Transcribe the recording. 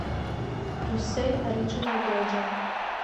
брюссель ориджинал белджиан